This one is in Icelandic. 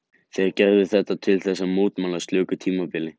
Þeir gerðu þetta til þess að mótmæla slöku tímabili.